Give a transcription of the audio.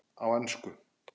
Á ensku